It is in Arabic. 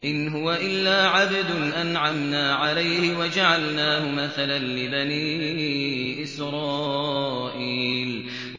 إِنْ هُوَ إِلَّا عَبْدٌ أَنْعَمْنَا عَلَيْهِ وَجَعَلْنَاهُ مَثَلًا لِّبَنِي إِسْرَائِيلَ